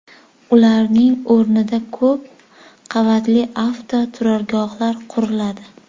Ularning o‘rnida ko‘p qavatli avtoturargohlar quriladi.